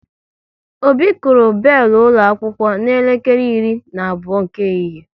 Obi kụrụ belu ụlọ akwụkwọ n'elekere iri na abụọ nke ehihie